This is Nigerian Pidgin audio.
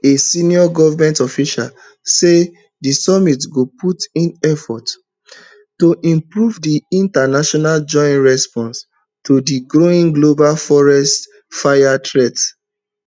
a senior government official say di summit go put in effort to improve di international joint response to di growing global forest fire threat